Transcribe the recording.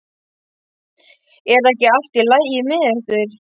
Er ekki allt í lagi með ykkur?